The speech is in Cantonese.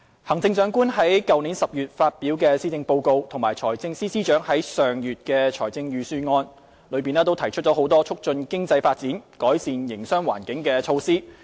行政長官在去年10月發表的施政報告及財政司司長在上月的財政預算案內提出多項促進經濟發展、改善營商環境的措施。